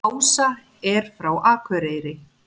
Ása er frá Akureyri.